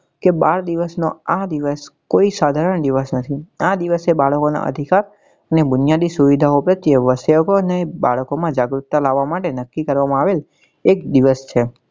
કે બાળ દિવસ નો આ દિવસ કોઈ સાધારણ દિવસ નથી આ દિવસે બાળકો ના અધિકાર અને બુનિયાદી સુવિધા પ્રત્યે ને બાળકો માં જાગૃક્તા લાવવા માટે નક્કી કરવા માં આવેલ એ જ દિવસ છે.